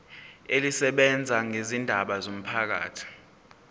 elisebenza ngezindaba zomphakathi